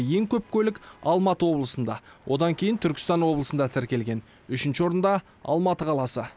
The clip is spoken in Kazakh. ең көп көлік алматы облысында одан кейін түркістан облысында тіркелген үшінші орында алматы қаласы